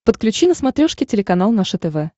подключи на смотрешке телеканал наше тв